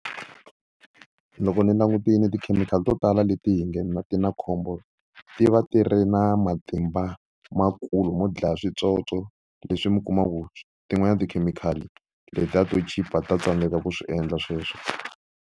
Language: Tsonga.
Loko ni langutile tikhemikhali to tala leti hi nge ti na khombo ti va ti ri na matimba makulu mo dlaya switsotso leswi mi kumaku tin'wanyana tikhemikhali letiya to chipa ta tsandzeka ku swi endla sweswo.